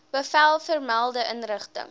bevel vermelde inrigting